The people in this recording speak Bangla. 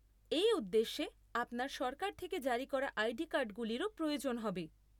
এই উদ্দেশ্যে আপনার সরকার থেকে জারি করা আইডি কার্ডগুলিরও প্রয়োজন হবে।